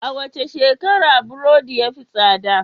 A wace shekara burodi ya fi tsada?